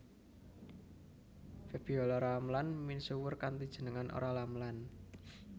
Febiola Ramlan misuwur kanthi jeneng Olla Ramlan